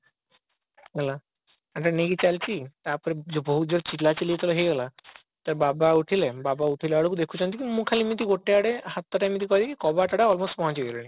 ହେଲା ମାନେ ନେଇକି ଚାଲିଛି ତାପରେ ବହୁତ ଜୋରେ ଚିଲା ଚିଲି ଯେତେବେଳେ ହେଇଗଲା ତ ବାବା ଉଠିଲେ ବାବା ଉଠିଲା ବେଳକୁ ଦେଖୁଛନ୍ତି ମୁଁ ଖାଲି ଏମତି ଗୋଟେ ଆଡେ ହାତ ଟା ଏମିତି କରିକି କବାଟ ଆଡେ almost ପହଞ୍ଚି ଗଲିଣି